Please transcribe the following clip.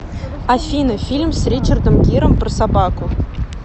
афина фильм с ричардом гиром про собаку